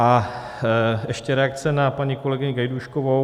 A ještě reakce na paní kolegyni Gajdůškovou.